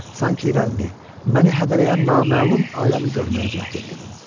Sanki irəlini, məni hədələyən naməlum aləmi görməyə cəhd eləyirdim.